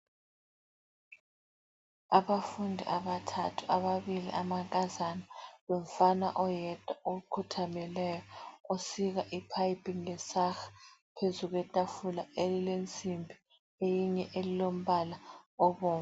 Abafundi abathathu, ababili amankazana lomfana oyedwa okhuthalele, osika iphayiphi. Kulesaha phezu kwetafula elilensimbi eyinye elombala obomvu.